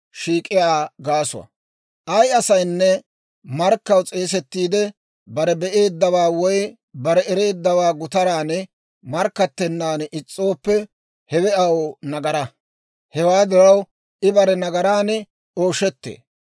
« ‹Ay asaynne markkaw s'eesettiide bare be'eeddawaa woy bare ereeddawaa gutaran markkattennaan is's'ooppe, hewe aw nagaraa; hewaa diraw I bare nagaraan ooshettee.